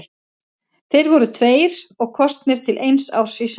Þeir voru tveir og kosnir til eins árs í senn.